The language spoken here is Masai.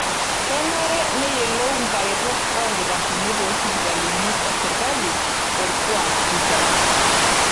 Kenare neyiolou nkaretok oolkitarrini toosipitalini e serkali olkuak sidai.